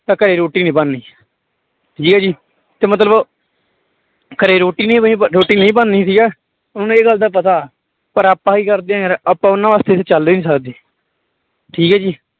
ਤਾਂ ਘਰੇ ਰੋਟੀ ਨੀ ਬਣਨੀ ਠੀਕ ਹੈ ਜੀ ਤੇ ਮਤਲਬ ਘਰੇ ਰੋਟੀ ਨੀ ਬਣੀ, ਰੋਟੀ ਨਹੀਂ ਬਣਨੀ ਠੀਕ ਹੈ ਉਹਨਾਂ ਨੂੰ ਇਹ ਗੱਲ ਦਾ ਪਤਾ ਪਰ ਆਪਾਂ ਕੀ ਕਰਦੇ ਆਂ ਯਾਰ ਆਪਾਂ ਉਹਨਾਂ ਵਾਸਤੇ ਚੱਲ ਹੀ ਨੀ ਸਕਦੇ ਠੀਕ ਹੈ ਜੀ।